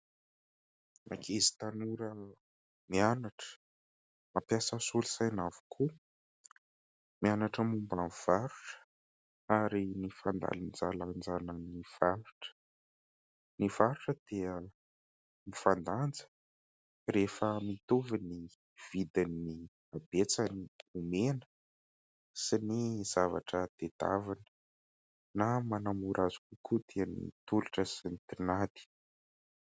Ankizy tanora mianatra, mampiasa solosaina avokoa, mianatra momba ny varotra ary ny fandanjalanjana ny varotra. Ny varotra dia mifandanja rehefa mitovy ny vidin'ny habetsan'ny omena sy ny zavatra tadiavina, na manamora azy kokoa dia ny tolotra sy ny tinady.